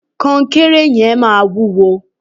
kọnkéré yẹn maa wuwo